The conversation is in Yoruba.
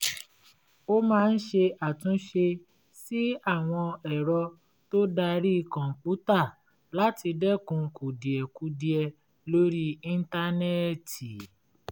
ó máa ń ṣe àtúnṣe sí àwọn ẹ̀rọ tó darí kọ̀ǹpútà láti dẹ́kun kùdìẹ̀kudiẹ lórí íńtánẹ́ẹ̀tì